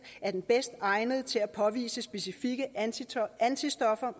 er den bedst egnede til at påvise specifikke antistoffer